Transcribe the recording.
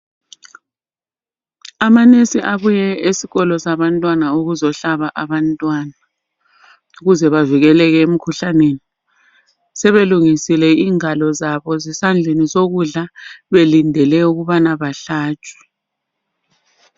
Ama nurse abuye esikolo sabantwana ukuzohlaba abantwana ukuze bavikeleke emikhuhlaneni. Sebelungisile ingalo zabo zesandleni sokudla belindele ukubana bahlatshwe.